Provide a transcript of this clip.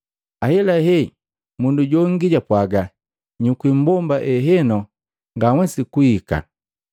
ahelahe mundu jongi japwaaga, ‘Nyukwi mbomba ehenu, nganhwesi kuika.’